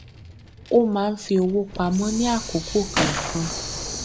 ó máa ń fi owó pamọ ní àkókò kọọkan